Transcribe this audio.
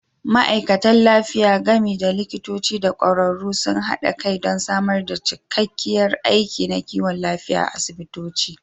Ma'aikatan lafiya, gami da likitoci da ƙwararru, sun haɗa kai don samar da cikakkiyar aiki na kiwon lafiya a asibitoci.